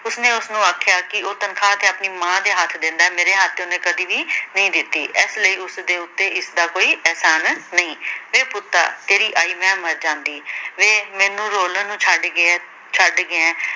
ਉਸਨੇ ਉਸਨੂੰ ਆਖਿਆ ਕਿ ਉਹ ਤਨਖਾਹ ਤੇ ਆਪਣੀ ਮਾਂ ਦੇ ਹੱਥ ਦਿੰਦਾ ਮੇਰੇ ਹੱਥ ਤੇ ਓਹਨੇ ਕਦੇ ਵੀ ਨਈ ਦਿੱਤੀ ਇਸ ਲਈ ਉਸਦੇ ਉੱਤੇ ਇਸਦਾ ਕੋਈ ਇਹਸਾਨ ਨਈ ਵੇ ਪੁੱਤਾ ਤੇਰੀ ਆਈ ਮੈ ਮਰ ਜਾਂਦੀ ਵੇ ਮੈਨੂੰ ਰੋਲਣ ਨੂੰ ਛੱਡ ਗਿਆਂ, ਛੱਡ ਗਿਆ ਏਂ